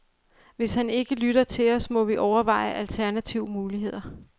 Hvis han ikke lytter til os, må vi overveje alternative muligheder.